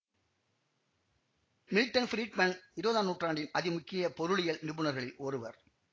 Milton Friedman இருவதாம் நூற்றாண்டின் அதி முக்கிய பொருளியல் நிபுணர்களில் ஒருவர்